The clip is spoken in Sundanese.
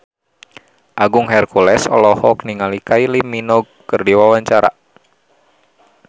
Agung Hercules olohok ningali Kylie Minogue keur diwawancara